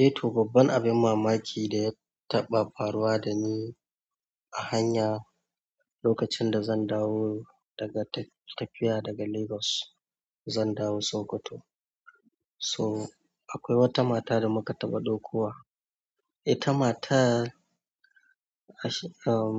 Eh, to babban abin mamaki da ya taɓa faruwa da ni a hanya lokacin da zan dawo daga tafiya daga Lagos, zan dawo Sokoto. So akwai wata mata da muka taɓa dokowa. Ita matan ahm